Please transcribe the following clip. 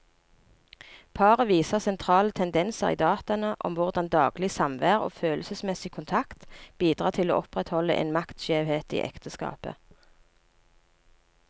Paret viser sentrale tendenser i dataene om hvordan daglig samvær og følelsesmessig kontakt bidrar til å opprettholde en maktskjevhet i ekteskapet.